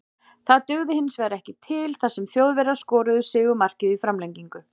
Það dugði hinsvegar ekki til þar sem Þjóðverjar skoruðu sigurmarkið í framlengingu.